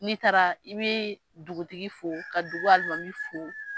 N'i taara, i bɛ dugutigi fo, ka dugu alimami fo.